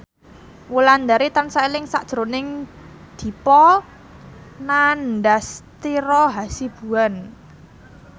Wulandari tansah eling sakjroning Dipa Nandastyra Hasibuan